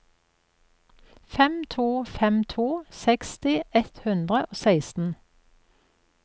fem to fem to seksti ett hundre og seksten